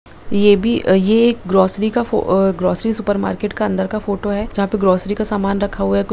ये भी ये एक ग्रोसरी का फो अ ग्रोसरी सुपर मार्केट का अंदर का फोटो है जहां पर ग्रोसरी का समान रखा हुआ है कु --